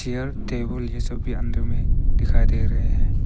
Chair table ये सब भी अंदर में दिखाई दे रहे हैं।